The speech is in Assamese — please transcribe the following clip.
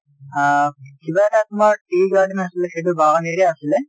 আ কিবা এটা তোমাৰ tea garden আছিলে সেইটো বাগান area আছিলে।